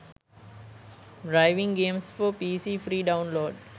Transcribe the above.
driving games for pc free download